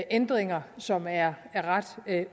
ændringer som er ret